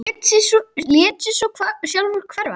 Lét sig svo sjálfur hverfa.